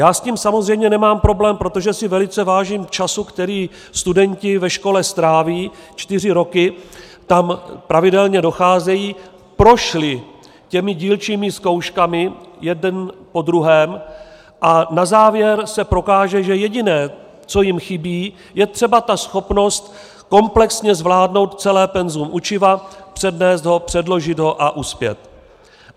Já s tím samozřejmě nemám problém, protože si velice vážím času, který studenti ve škole stráví, čtyři roky tam pravidelně docházejí, prošli těmi dílčími zkouškami, jeden po druhém, a na závěr se prokáže, že jediné, co jim chybí, je třeba ta schopnost komplexně zvládnout celé penzum učiva, přednést ho, předložit ho a uspět.